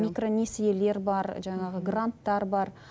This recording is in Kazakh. микронесиелер бар жаңағы гранттар бар